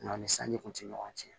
Nga ni sanji kun ti ɲɔgɔn cɛn